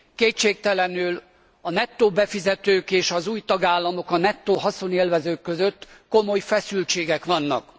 Kétségtelenül a nettó befizetők és az új tagállamok, a nettó haszonélvezők között komoly feszültségek vannak.